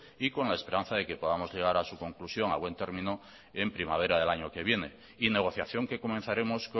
y con la esperanza de que podamos llegar a su conclusión a buen término en primavera del año que viene y negociación que comenzaremos